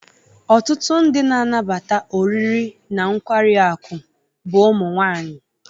Ọtụtụ ndị na-anabata oriri na nkwari akụ bụ ụmụ nwanyị.